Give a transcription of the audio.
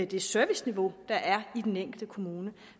det serviceniveau der er i den enkelte kommune